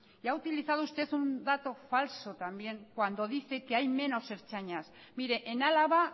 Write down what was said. y ha utilizado usted un dato falso también cuando dice que hay menos ertzainas mire en álava